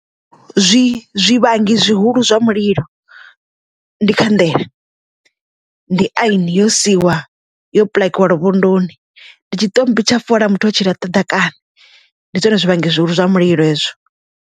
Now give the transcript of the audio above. Zwi zwivhangi zwihulu zwa mulilo ndi khanḓele, ndi aini yo siiwa yo paḽakiwa luvhondoni, ndi tshi ṱommbi tsha fola muthu o tshi ḽaṱa ḓakana ndi zwone zwivhangi zwihulu zwa mulilo hezwo.